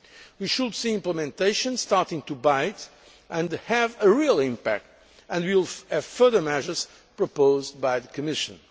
We should see implementation starting to bite and have a real impact, and we will have further measures proposed by the Commission.